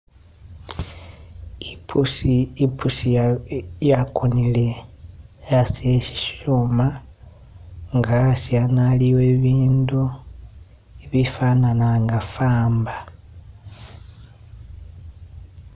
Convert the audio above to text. Ipusi Yakonele asi e'sishuma , asi ano aliwo ibindu ibifanana nga faamba